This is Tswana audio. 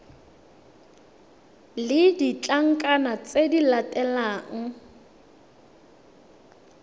le ditlankana tse di latelang